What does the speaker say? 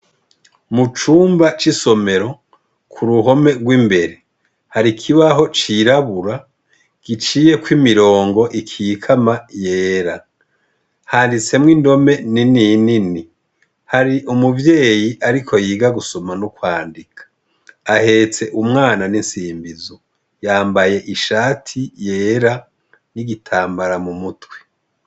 Mucumba c'isomero, ku ruhome rw'imbere hari ikibaho cirabura giciyeko imirongo ikikama yera, handitsemwo indome ni ninini hari umuvyeyi ariko yiga gusoma n'ukwandika, ahetse umwana n'insimbizo yambaye ishati yera n'igitambara mu mutwi.